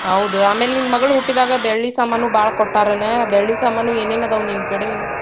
ಹೌದು, ಆಮ್ಯಾಲೆ ನಿನ್ನ ಮಗಳು ಹುಟ್ಟಿದಾಗ ಬೆಳ್ಳಿ ಸಾಮಾನೂ ಭಾಳ್ ಕೊಟ್ಟಾರ್ನ, ಬೆಳ್ಳಿ ಸಾಮಾನು ಏನೇನ್ ಅದಾವ್ ನಿನ್ನ ಕಡೆ?